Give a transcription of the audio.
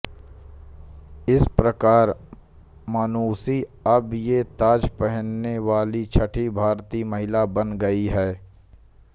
इस प्रकार मानुषी अब ये ताज पहनने वाली छठी भारतीय महिला बन गईं हैं